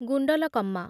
Gundlakamma